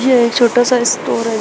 ये छोटा सा स्टोर है--